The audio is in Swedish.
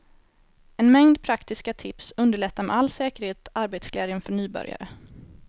En mängd praktiska tips underlättar med all säkerhet arbetsglädjen för nybörjare.